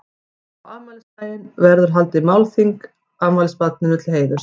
Á afmælisdaginn verður haldið málþing afmælisbarninu til heiðurs.